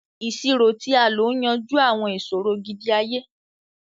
Iṣiro ti a lo n yanju awọn iṣoro gidi-aye,